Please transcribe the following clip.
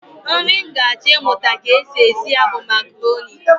Nri m ga-achọ ịmụta ka e si esi ya bụ makaroni